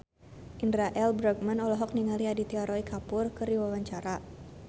Indra L. Bruggman olohok ningali Aditya Roy Kapoor keur diwawancara